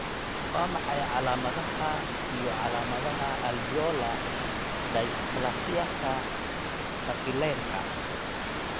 Waa maxay calaamadaha iyo calaamadaha Alveolar dysplasiaka capillaryka?